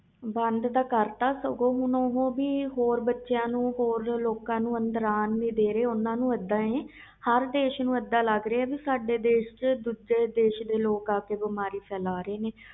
ਬੰਦ ਤਾ ਕਰਤਾ ਸਗੋਂ ਹੁਣ ਹੁਣ ਉਹ ਹੋਰ ਬੱਚਿਆਂ ਨੂੰ ਹੋਰ ਲੋਕ ਨੂੰ ਅੰਦਰ ਅਨ ਨਹੀਂ ਦੀਦੇ ਪਏ ਹਰ ਦੇਸ ਨੂੰ ਇਹਦਾ ਲਗ ਰਹੇ ਏ ਕਿ ਦੂਜੇ ਦੇਸ ਤੇ ਲੋਕ ਸਦਾਏ ਦੇਸ ਵਿਚ ਆ ਕੇ ਬਿਮਾਰੀ ਫੈਲਾ ਰਹੇ ਨੇ